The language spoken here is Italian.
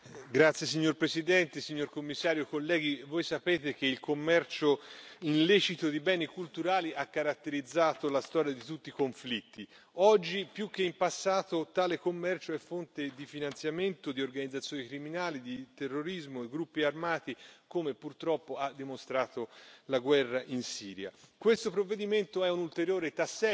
Signor Presidente, onorevoli colleghi, signor commissario, voi sapete che il commercio illecito di beni culturali ha caratterizzato la storia di tutti i conflitti. Oggi più che in passato tale commercio è fonte di finanziamento di organizzazioni criminali, di terrorismo, di gruppi armati, come purtroppo ha dimostrato la guerra in Siria. Questo provvedimento è un ulteriore tassello